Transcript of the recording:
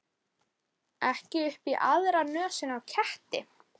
Ekki upp í aðra nösina á ketti.